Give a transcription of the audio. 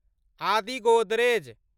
आदि गोदरेज